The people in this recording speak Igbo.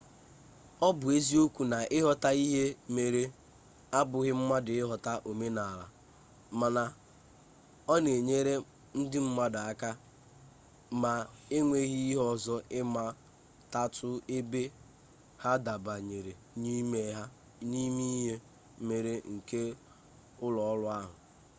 ọ bụ eziokwu na ịghọta ihe mere abụghị mmadụ ịghọta omenala mana ọ na-enyere ndị mmadụ aka ma enweghi ihe ọzọ ịmatatu ebe ha dabanyere n'ime ihe mere nke ụlọọrụ ahụ